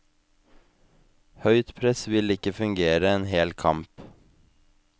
Høyt press vil ikke fungere en hel kamp.